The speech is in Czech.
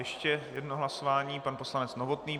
Ještě jedno hlasování, pan poslanec Novotný.